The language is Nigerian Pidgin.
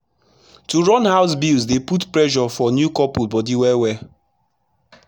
to run house bills dey put pressure for new couples bodi well well